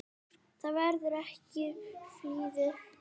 Það verður ekkert flúið.